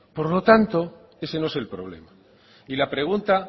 por lo tanto ese no es el problema y la pregunta